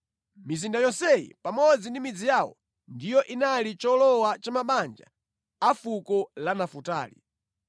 Mizinda yonseyi pamodzi ndi midzi yawo ndiyo inali cholowa cha mabanja a fuko la Nafutali.